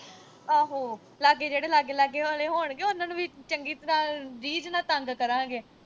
ਅਹੋ, ਲਾਗੇ ਜਿਹੜੇ ਲਾਗੇ-ਲਾਗੇ ਆਲੇ ਹੋਣਗੇ, ਉਨ੍ਹਾਂ ਨੂੰ ਵੀ ਚੰਗੀ ਤਰ੍ਹਾਂ ਰੀਝ ਨਾਲ ਤੰਗ ਕਰਾਂਗੇ।